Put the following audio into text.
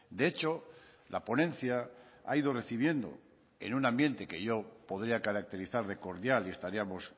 de hecho la ponencia ha ido recibiendo en un ambiente que yo podría caracterizar de cordial y estaríamos